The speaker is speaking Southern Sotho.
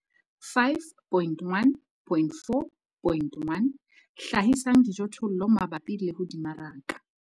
5.1.4.1 Hlahisang dijothollo mabapi le ho di maraka.